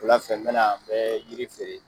Wula fɛ, n bɛ na n bɛ yiri feere.